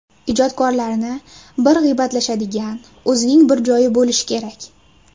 Ijodkorlarni bir g‘iybatlashadigan, o‘zining bir joyi bo‘lishi kerak.